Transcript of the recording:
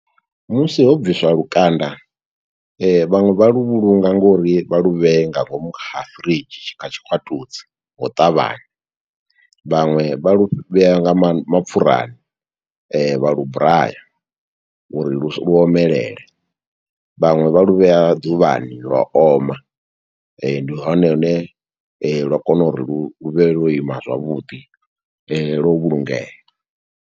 Musi ho bvisiwa lukanda, vhaṅwe vha lu vhulunga ngo uri vha lu vhee nga ngomu ha fridge, kha tshikwatudzi ngo u ṱavhanya. Vhaṅwe vha lu vhea nga ma, mapfurani, vha lu braya, uri lu omelele, vhaṅwe vha lu vhea ḓuvhani lwa oma. Ndi hone hune lwa kona u ri lu vhe lwo ima zwavhuḓi, lwo vhulungea.